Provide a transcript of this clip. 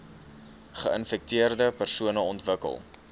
geinfekteerde persone ontwikkel